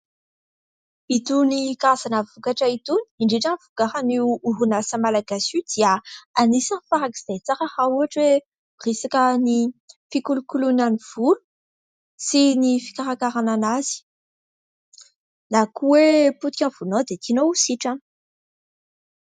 Itony karazana vokatra itony, indrindra ny vokarin'io orinasa malagasy io dia anisany farak'izay tsara raha ohatra hoe resaka ny fikolokoloana ny volo sy ny fikarakarana an'azy, na koa hoe potika ny volonao dia tianao ho sitrana.